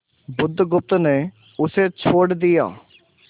बुधगुप्त ने उसे छोड़ दिया